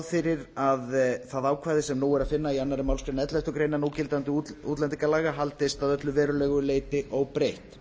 fyrir að það ákvæði sem nú er að finna í annarri málsgrein elleftu grein núgildandi útlendingalaga haldist að öllu verulegu leyti óbreytt